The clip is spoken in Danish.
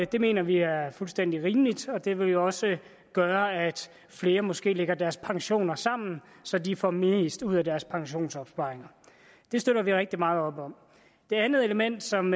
det mener vi er fuldstændig rimeligt og det vil jo også gøre at flere måske lægger deres pensioner sammen så de får mest ud af deres pensionsopsparinger det støtter vi rigtig meget op om det andet element som